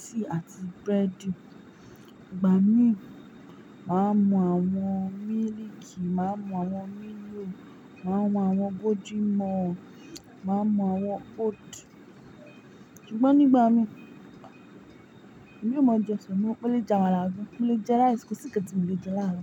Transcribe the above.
tea àti búrẹ́dì. Ìgbà mí, màá mú àwọn mílìkì, màá mú àwọn Milo, màá mú àwọn Golden morn, màá mú àwọn oat. Ṣùgbọ́n nígbà mí, emi ò mọ jẹ semó, mo jẹ àmàlà gan, mo lè jẹ rice kò sí nkán tí mi lè jẹ laaro.